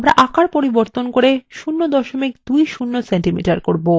আমরা আকার পরিবর্তন করব 020 cm করব